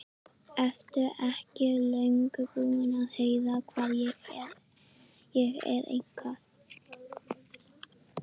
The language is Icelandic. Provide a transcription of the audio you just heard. Ertu ekki löngu búinn að heyra hvað ég er eitthvað.